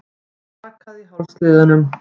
Það brakaði í hálsliðunum.